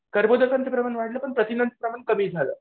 कर्बोदकांचं प्रमाण वाढलं पण प्रथिनांचं प्रमाण कमी झालं.